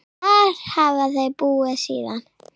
Þar hafa þau búið síðan.